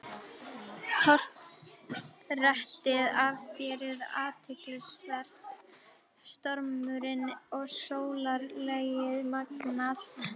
Portrettið af þér er athyglisvert- stormurinn og sólarlagið magnað.